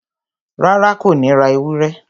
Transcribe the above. Rárá, Kò ní ra ewúrẹ́